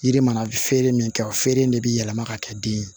Yiri mana feere min kɛ o feere in de bɛ yɛlɛma ka kɛ den ye